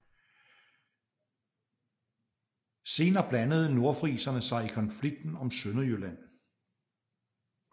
Senere blandede nordfriserne sig i konflikterne om Sønderjylland